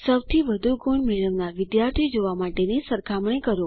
સૌથી વધુ ગુણ મેળવનાર વિદ્યાર્થી જોવા માટેની સરખામણી કરો